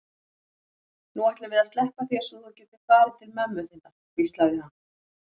Nú ætlum við að sleppa þér svo þú getir farið til mömmu þinnar, hvíslaði hann.